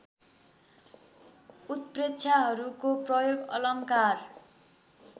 उत्प्रेक्षाहरूको प्रयोग अलङ्कार